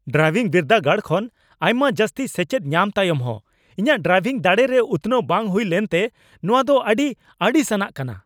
Driving ᱵᱤᱨᱫᱟᱹᱜᱟᱲ ᱠᱷᱚᱱ ᱟᱭᱢᱟ ᱡᱟᱹᱥᱛᱤ ᱥᱮᱪᱮᱫ ᱧᱟᱢ ᱛᱟᱭᱚᱢ ᱦᱚᱸ ᱤᱧᱟᱹᱜ ᱰᱨᱟᱭᱵᱷᱤᱝ ᱫᱟᱲᱮ ᱨᱮ ᱩᱛᱱᱟᱹᱣ ᱵᱟᱝ ᱦᱩᱭ ᱞᱮᱱᱛᱮ ᱱᱚᱣᱟ ᱫᱚ ᱟᱹᱰᱤ ᱟᱹᱲᱤᱥ ᱟᱱᱟᱜ ᱠᱟᱱᱟ ᱾